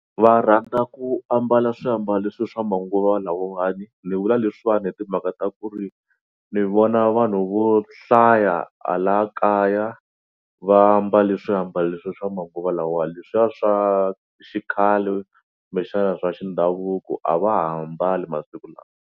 Va rhandza ku ambala swiambalo leswi swa manguva lawawani ni vula leswiwani hi timhaka ta ku ri ni vona vanhu vo hlaya hala kaya va mbale swiambalo leswi swa manguva lawa leswiya swa xikhale kumbexana swa xindhavuko a va ha mbali masiku lawa.